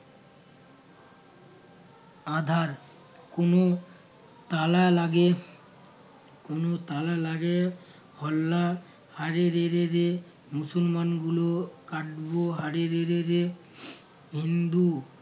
আঁধার কোনো তালা লাগে কোনো তালা লাগে হোল্লা হারে রে রে রে মুসলমান গুলো কাটবো হারে রে রে রে হিন্দু